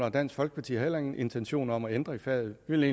og dansk folkeparti har ingen intentioner om at ændre faget vi vil